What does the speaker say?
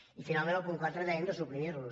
i finalment el punt quatre dèiem de suprimir lo